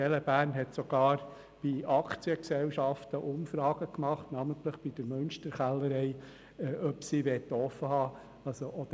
«TeleBärn» hat sogar Aktiengesellschaften wie die Münsterkellerei befragt, ob sie offen haben wollen.